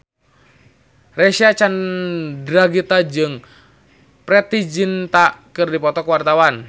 Reysa Chandragitta jeung Preity Zinta keur dipoto ku wartawan